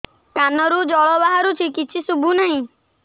କାନରୁ ଜଳ ବାହାରୁଛି କିଛି ଶୁଭୁ ନାହିଁ